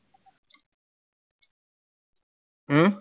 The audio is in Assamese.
হম